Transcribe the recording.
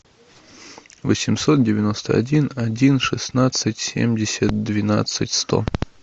восемьсот девяносто один один шестнадцать семьдесят двенадцать сто